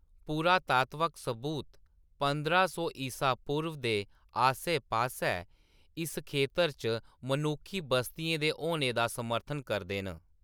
पुरातात्वक सबूत पंदरां सौ ईसा पूर्व दे आस्सै-पास्सै इस खेतर च मनुक्खी बस्तियें दे होने दा समर्थन करदे न।